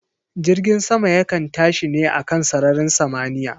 Jirgin sama yakan tashi ne a kan sararin samaniya